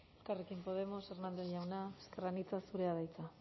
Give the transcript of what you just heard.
elkarrekin podemos ezker anitza hernández jauna zurea da hitza